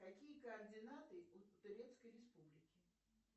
какие координаты у турецкой республики